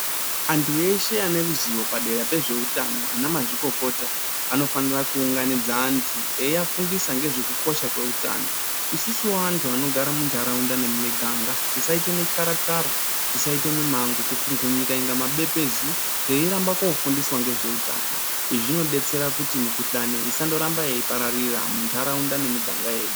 Antu veshe vane ruzivo padera pezveutano anamazvikokota anofanira kuunganidza antu eyiyafundisa ngezvekukosha kweutano. Isusuwo antu anogara muntaraunda nemumiganga, tisaite mityara tyara , tisaite mimango kukungunyika inga mabepezu, teiramba kofundiswa ngezveutano. Izvi zvinobetsera kuti mikuhlane isandoramba yeipararira muntaraunda nemumiganga yedu.